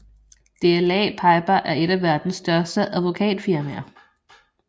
DLA Piper er et af verdens største advokatfirmaer